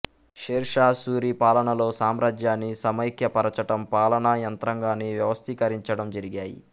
షేర్షా సూరీ పాలనలో సామ్రాజ్యాన్ని సమైక్య పరచటం పాలనా యంత్రాగాన్ని వ్యవస్థీకరించడం జరిగాయి